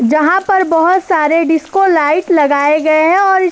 जहां पर बहौत सारे डिस्को-लाइट लगाए गए हैं और इस --